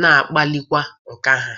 na-akpalikwa nkà ha.